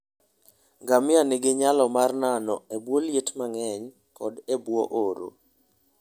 Ngamia nigi nyalo mar nano e bwo liet mang'eny koda e bwo oro.